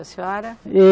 A senhora?